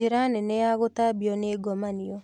Njĩra nene ya gũtambio ni ngomanio